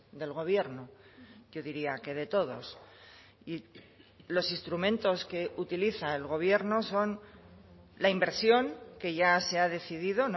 del gobierno yo diría que de todos y los instrumentos que utiliza el gobierno son la inversión que ya se ha decidido